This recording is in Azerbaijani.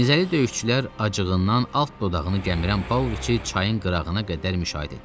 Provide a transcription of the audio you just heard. Zəncili döyüşçülər acığından alt dodağını gəmirən Pavloviçi çayın qırağına qədər müşayiət etdilər.